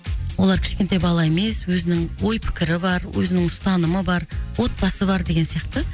олар кішкентай бала емес өзінің ой пікірі бар өзінің ұстанымы бар отбасы бар деген сияқты